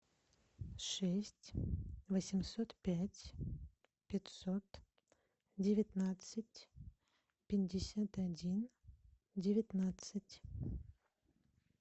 шесть восемьсот пять пятьсот девятнадцать пятьдесят один девятнадцать